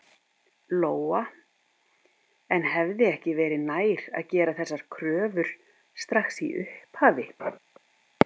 Lóa: En hefði ekki verið nær að gera þessar kröfur strax í upphafi?